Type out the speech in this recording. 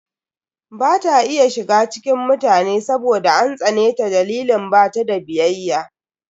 Ba ta iya shiga cikin mutane saboda an tsane ta dalilin bata da biyayya.